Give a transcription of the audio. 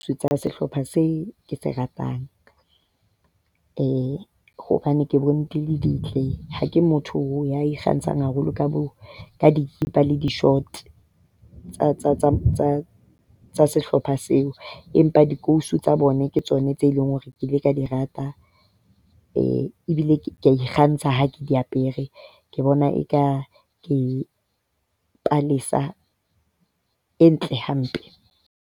Tsa sehlopha seo ke se ratang eh hobane ke bone di le ntle. Ha ke motho ya ikgantshang haholo ka bo ka dikipa le di-short tsa sehlopha seo. Empa dikausu tsa bona ke tsona tseo leng hore ke ile ka di rata ebile ke a ikgantsha ha ke di apere. Ke bona eka ke palesa e ntle hampe.